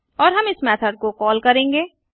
और हम इस मेथड को कॉल करेंगे